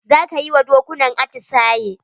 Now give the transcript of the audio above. Za ka yi wa dokunan atisaye?